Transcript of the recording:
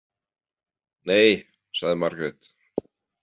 Nei, sagði Margrét.